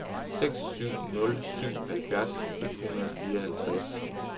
seks syv nul syv halvfjerds et hundrede og fireoghalvtreds